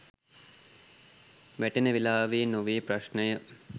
වැටෙන වෙලාව් නොවේ ප්‍රශ්නය